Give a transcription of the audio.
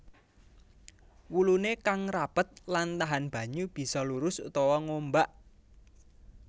Wuluné kang rapet lan tahan banyu bisa lurus utawa ngombak